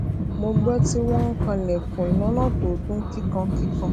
mo gbó tí wón ń kan ilèkùn lónà tó dún kíkankíkan